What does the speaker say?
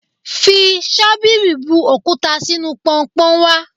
Fi ṣọ́bìrì bu òkúta sínú Pọnpọ́n wá.